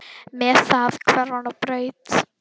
Með það hvarf hann á braut.